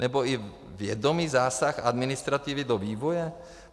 Nebo i vědomý zásah administrativy do vývoje?